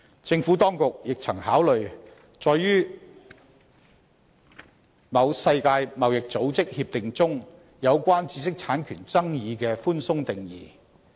政府當局亦曾考慮載於某世界貿易組織協定中有關"知識產權"的寬鬆定義。